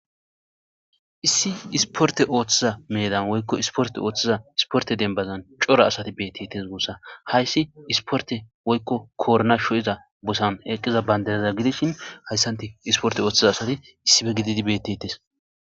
Issi isporte ooththiza meedan woykko isporte ooththiza isporte dembazan cora asati beettites guossa hayssi isporte woykko koorna sho7iza bosan eqqiza bayndaneza gidishin hayssanti isporte ooththiza asati issife gididi beettetes.